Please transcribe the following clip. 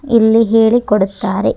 ಇಲ್ಲಿ ಹೇಳಿ ಕೊಡುತ್ತಾರೆ.